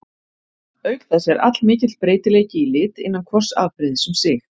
Auk þess er allmikill breytileiki í lit innan hvors afbrigðis um sig.